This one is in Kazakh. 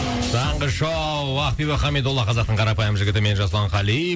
таңғы шоу ақбибі хамидолла қазақтың қарапайым жігітімен жасұлан қали